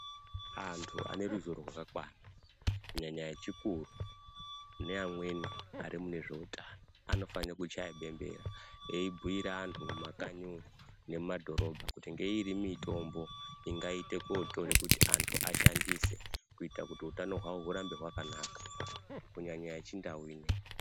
Anthu aneruzivo rwakakwana kunyanya echikuru neamweni arimune zveutano anofanira kuchaya bembera eibhuira athu mumakanyi umwo nemumadhorobha kuti ngeiri mutombo ingaita kutora kuti antu ashandise kuita kuti utano hwavo hugare hwakanaka, kunyanya yeChindau ineyi.